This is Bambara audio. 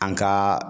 An ka